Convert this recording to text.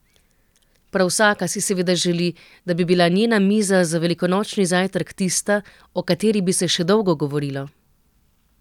Prav vsaka si seveda želi, da bi bila njena miza za velikonočni zajtrk tista, o kateri bi se še dolgo govorilo.